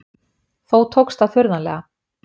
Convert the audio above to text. Þó tókst það furðanlega.